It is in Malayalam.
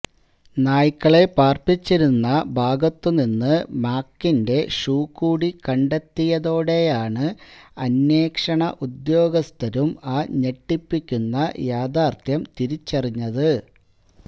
നായ്ക്കളെ പാര്പ്പിച്ചിരുന്ന ഭാഗത്തുനിന്ന് മാക്കിന്റെ ഷൂ കൂടി കണ്ടെത്തിയതോടെയാണ് അന്വേഷണ ഉദ്യോഗസ്ഥരും ആ ഞെട്ടിപ്പിക്കുന്ന യാഥാര്ഥ്യം തിരിച്ചറിഞ്ഞത്